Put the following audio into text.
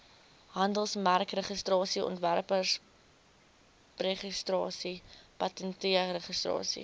handelsmerkregistrasie ontwerpregistrasie patentregistrasie